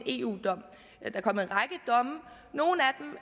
eu domme nogle